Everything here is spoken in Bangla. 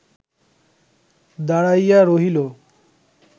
দাঁড়াইয়া রহিল